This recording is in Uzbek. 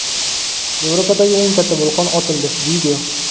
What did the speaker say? Yevropadagi eng katta vulqon otildi.